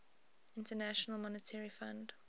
international monetary fund